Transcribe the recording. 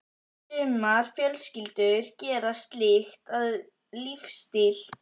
Sumar fjölskyldur gera slíkt að lífsstíl.